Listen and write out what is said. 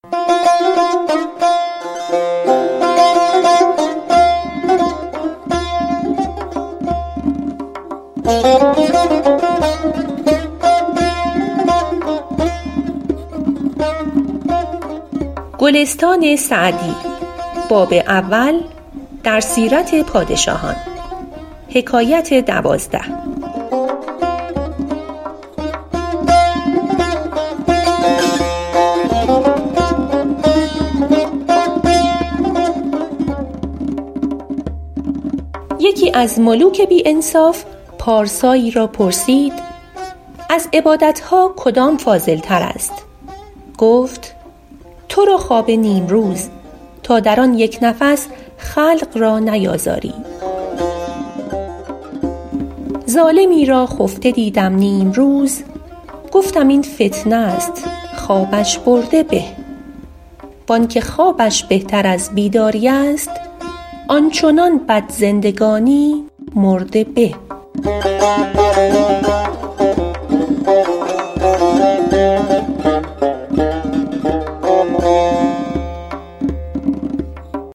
یکی از ملوک بی انصاف پارسایی را پرسید از عبادت ها کدام فاضل تر است گفت تو را خواب نیمروز تا در آن یک نفس خلق را نیازاری ظالمی را خفته دیدم نیمروز گفتم این فتنه است خوابش برده به وآنکه خوابش بهتر از بیداری است آن چنان بد زندگانی مرده به